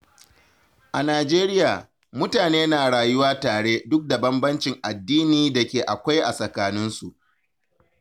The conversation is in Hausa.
A Najeriya, mutane na rayuwa tare duk da bambancin addini da ke akwai a tsakaninsu.